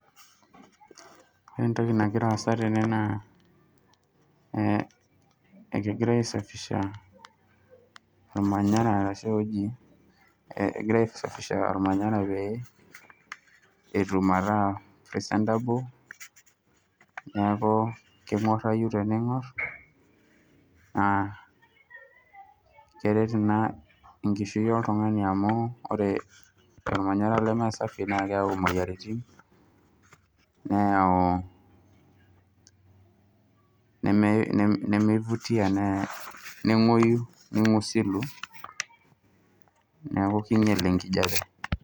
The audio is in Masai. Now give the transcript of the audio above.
Ore entoki nagira aasa naa kegirai aisapisha ormanaya metaa presentable neaku kenguarayu teningor. Naa keret ina enkishui oltungani amuu teningorr ore ormanyara leme sapi neyau imoyiaritin neyau nemeifutia neingusilu neaku keinyal enkijape.